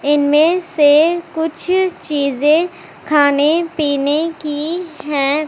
इनमें से कुछ चीजें खाने पीने कीं हैं।